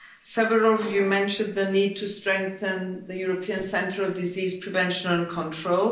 Several of you mentioned the need to strengthen the European Centre of Disease Prevention and Control.